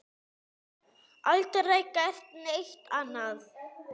Aldrei gert neitt annað.